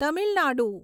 Tamil Nadu